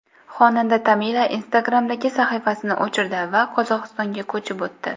Xonanda Tamila Instagram’dagi sahifasini o‘chirdi va Qozog‘istonga ko‘chib o‘tdi .